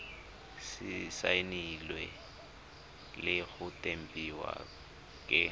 saenilwe le go tempiwa ke